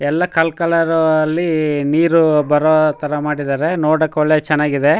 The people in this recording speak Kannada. ಎಲ್ಲಾ ಕಲ್ ಕಲರು ಅಲ್ಲಿ ನೀರು ಬರೋತರ ಮಾಡಿದರೆ ನೋಡಕ್ಕೆ ಒಳ್ಳೆ ಚನ್ನಾಗಿದೆ.